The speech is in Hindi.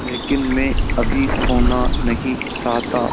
लेकिन मैं अभी सोना नहीं चाहता